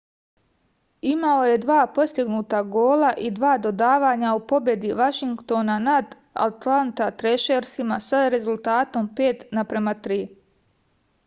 imao je 2 postignuta gola i 2 dodavanja u pobedi vašingtona nad altanta trešersima sa rezultatom 5:3